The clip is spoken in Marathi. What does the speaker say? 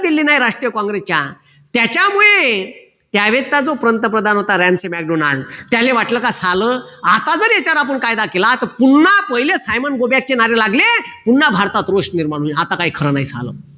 दिली नाही राष्ट्रीय काँग्रेसच्या त्याच्यामुळे त्या वेळेचा जो पंतप्रधान होता त्याले वाटलं का झालं आता जर आपण याच्यावर कायदा केला तर पूर्ण पहिले go back नारे लागले पुन्हा भारतात रोष निर्माण होईल आता काही खरं नाही झालं